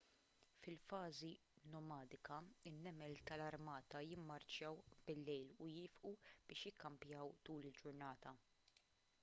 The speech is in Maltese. fil-fażi nomadika in-nemel tal-armata jimmarċjaw bil-lejl u jieqfu biex jikkampjaw tul il-ġurnata